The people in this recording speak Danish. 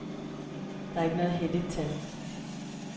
Det er ikke noget helligt tal.